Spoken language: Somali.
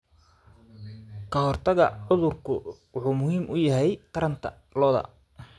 Kahortagga cudurku wuxuu muhiim u yahay taranta lo'da.